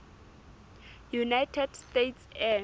united states air